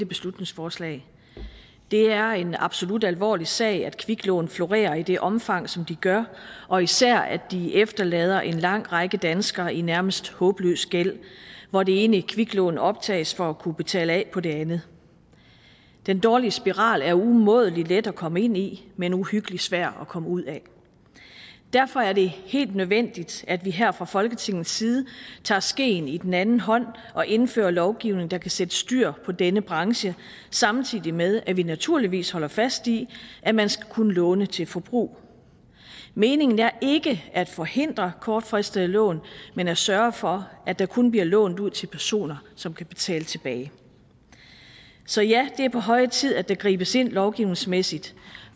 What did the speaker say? beslutningsforslag det er en absolut alvorlig sag at kviklån florerer i det omfang som de gør og især at de efterlader en lang række danskere i nærmest håbløs gæld hvor det ene kviklån optages for at kunne betale af på den andet den dårlige spiral er umådelig let at komme ind i men uhyggelig svær at komme ud af derfor er det helt nødvendigt at vi her fra folketingets side tager skeen i den anden hånd og indfører lovgivning der kan sætte styr på denne branche samtidig med at vi naturligvis holder fast i at man skal kunne låne til forbrug meningen er ikke at forhindre kortfristede lån men at sørge for at der kun bliver lånt ud til personer som kan betale tilbage så ja det er på høje tid at der gribes ind lovgivningsmæssigt